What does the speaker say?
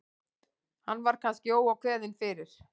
Hann var kannski óákveðinn fyrir.